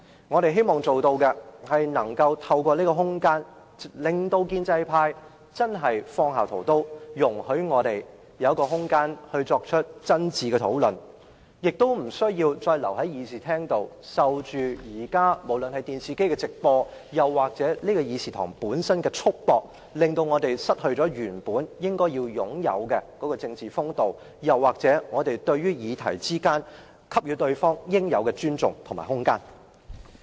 我們希望透過這些空間，令建制派真正放下屠刀，讓我們有空間進行真誠討論，無須留在會議廳裏，受電視機直播或本會議廳束縛，以致我們失去應有的政治風度，而應讓議員就討論議題給予對方應有的尊重和空間。